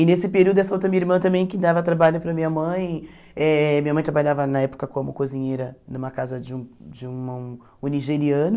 E nesse período essa outra minha irmã também que dava trabalho para minha mãe, eh minha mãe trabalhava na época como cozinheira numa casa de um de um um nigeriano,